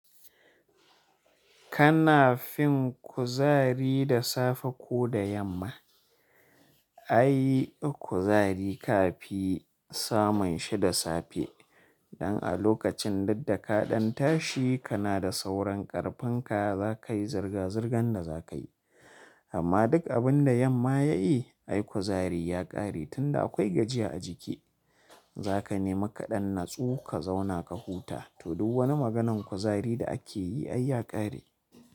Kana fin kuzari da safe ko da yamma. Ai kuzari ka fi samun shida safe. Dan a lokacin duddaka ɗan tashi kana da sauran ƙarfin ka za ka yi zirga-zirgan da za ka yi. Amma duk abin da yamma ya yi, ai kuzari ya ƙare tun da akwai gajiya a jiki. Za ka nema kaɗan natsu ka zauna ka huta. To duk wani maganan kuzari da ake yi ai ya ƙare.